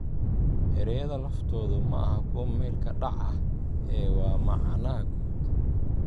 "Erayada laftoodu maaha kuwo meel-ka-dhac ah ee waa macnaha guud.